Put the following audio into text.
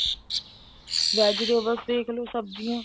vegetables ਦੇਖਲੋ ਸਬਜੀਆਂ